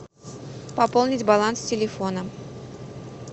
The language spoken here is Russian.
пополнить баланс телефона